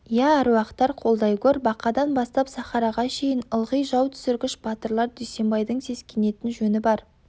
иә әруақтар қолдай гөр бақадан бастап сахараға шейін ылғи жау түсіргіш батырлар дүйсенбайдың сескенетін жөні бар